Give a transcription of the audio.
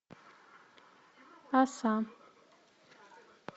оса